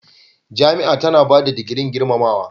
Jami'a tana ba da digirin gurmamawa.